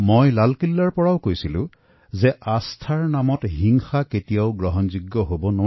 মই লালকিল্লাৰ পৰাও কৈছিলো বিশ্বাসৰ নামত হিংসাক সহ্য কৰা নহব